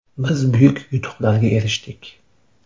Biz buyuk yutuqlarga erishdik.